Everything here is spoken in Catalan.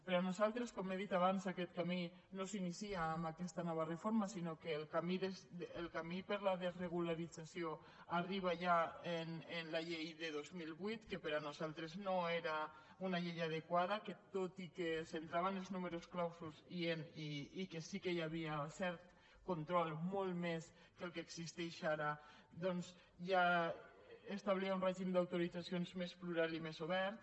per nosaltres com he dit abans aquest camí no s’inicia amb aquesta nova reforma sinó que el camí per a la desregulació arriba ja amb la llei de dos mil vuit que per nosaltres no era una llei adequada que tot i que es centrava en els numerus clausus i que sí que hi havia cert control molt més del que existeix ara ja establia un règim d’autoritzacions més plural i més obert